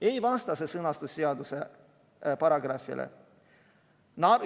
Ei vasta see sõnastus seaduse paragrahvile.